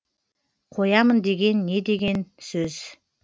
қоямын деген не деген сөз